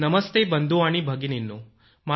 नमस्ते बंधू आणि भगिनींनो